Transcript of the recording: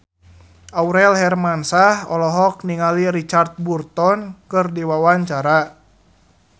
Aurel Hermansyah olohok ningali Richard Burton keur diwawancara